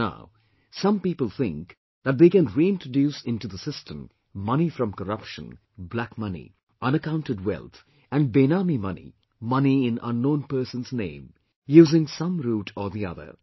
Even now, some people think that they can reintroduce into the system, money from corruption, black money, unaccounted wealth and Benami money money in unknown person's name, using some route or the other